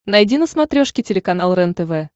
найди на смотрешке телеканал рентв